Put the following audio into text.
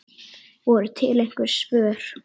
Voru til einhver svör?